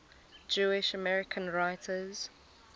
jewish american writers